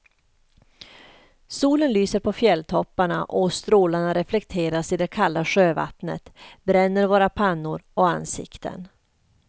Solen lyser på fjälltopparna och strålarna reflekteras i det kalla sjövattnet, bränner våra pannor och ansikten.